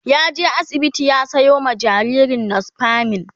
ya je asibiti ya Sayo ma jinjirin nospamin